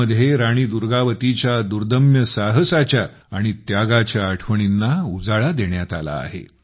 यामध्ये राणी दुर्गावतीच्या दुर्दम्य साहसाच्या आणि त्यागाच्या आठवणींना उजाळा देण्यात आला आहे